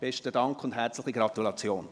Besten Dank und herzliche Gratulation!